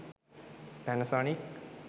panasonic